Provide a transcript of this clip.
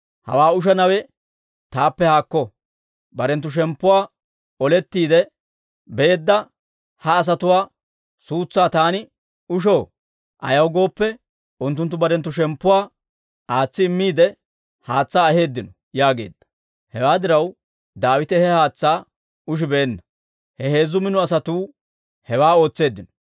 «Hawaa ushanawe taappe haakko! Barenttu shemppuwaa olettiide beedda ha asatuwaa suutsaa taani ushoo? Ayaw gooppe, unttunttu barenttu shemppuwaa aatsi immiide, haatsaa aheeddino» yaageedda. Hewaa diraw, Daawite he haatsaa ushibeenna. He heezzu mino asatuu hewaa ootseeddino.